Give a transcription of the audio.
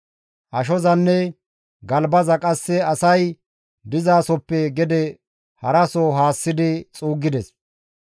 Ashozanne galbaza qasse asay dizasoppe gede haraso haassidi xuuggides.